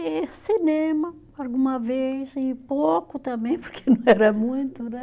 E cinema, alguma vez, e pouco também, porque não era muito, né?